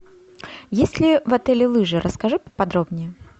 есть ли в отеле лыжи расскажи поподробнее